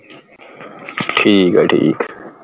ਠਏਏਕ ਹੈ ਠੀਕ ਹੈ